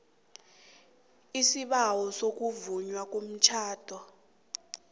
isibawo sokuvunywa komtjhado